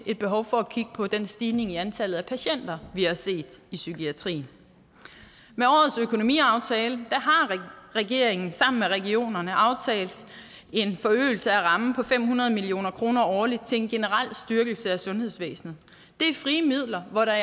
er behov for at kigge på den stigning i antallet af patienter vi har set i psykiatrien med årets økonomiaftale har regeringen sammen med regionerne aftalt en forøgelse af rammen på fem hundrede million kroner årligt til en generel styrkelse af sundhedsvæsenet det er frie midler hvor der